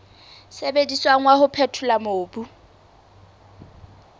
sebediswang wa ho phethola mobu